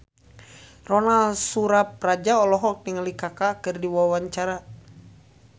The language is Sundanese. Ronal Surapradja olohok ningali Kaka keur diwawancara